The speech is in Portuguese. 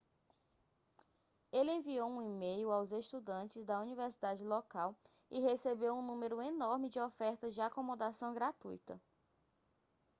ele enviou um e-mail aos estudantes da universidade local e recebeu um número enorme de ofertas de acomodação gratuita